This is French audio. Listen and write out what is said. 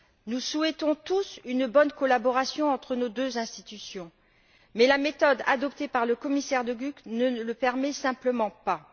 Nous souhaitons tous une bonne collaboration entre nos deux institutions, mais la méthode adoptée par le commissaire De Gucht ne le permet simplement pas.